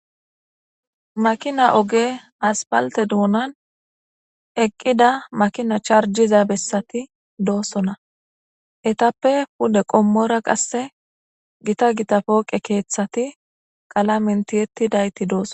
makina oge aspalte duunan eqqida makina charjiza bessati doossonna etappe pude qommora qasse gita gita pooqe keeththati qala mentiyetti dayti dooso